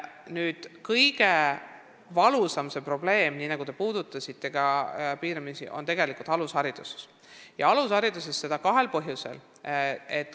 Nüüd, kõige valusam probleem, mida te ka riivamisi puudutasite, on tegelikult alushariduses ja seda kahel põhjusel.